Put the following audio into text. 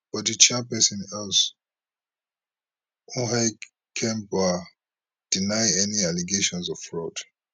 but di chairperson else hikembua deny any allegations of fraud